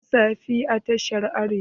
An sa fim a tashar Arewa?